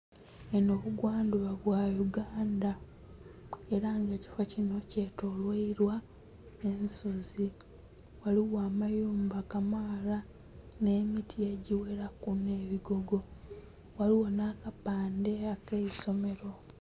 Enho bugwandhuba bwa Uganda era nga ekifoo kinho kye tolwailwa ensozi, ghaligho amayumba kamaala nhe miti egighelaku nhe bigogo, ghaligho nha kapandhe ake'somero.